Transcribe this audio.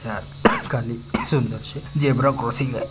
त्यात कालि zebra crossing आहे.